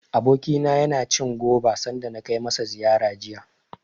Abokina yana cin goba, sanda na kai masa ziyara jiya.